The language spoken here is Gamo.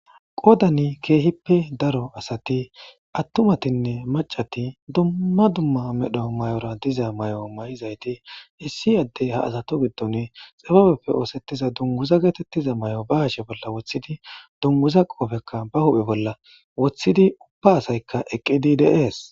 Qodan kehippe daro asati atumatinne macati duma duma medhdho diza mayo miyizaysati issi ade ezatu gidon xibabeppe otsetiza dunguzappe osetiza mayo ba hashe bolla wotidi dunguza qobeka ba huphphe bolla wotidi uba asaykka eqidi dee's.